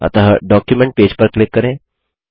अतः document page पर click करें